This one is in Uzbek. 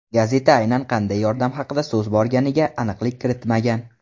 Gazeta aynan qanday yordam haqida so‘z borganiga aniqlik kiritmagan.